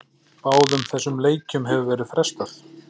Báðum þessum leikjum hefur verið frestað.